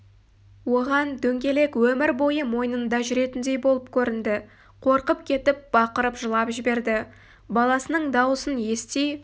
оған дөңгелек өмір бойы мойынында жүретіндей болып көрінді қорқып кетіп бақырып жылап жіберді баласының даусын ести